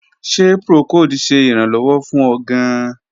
Ṣe procold ṣe iranlọwọ fun ọ gaan?